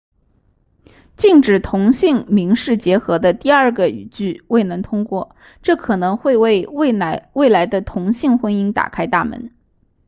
禁止同性民事结合的第二个语句未能通过这可能会为未来的同性婚姻打开大门